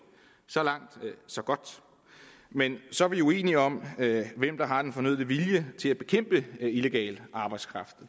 så langt så godt men så er vi uenige om hvem der har den fornødne vilje til at bekæmpe illegal arbejdskraft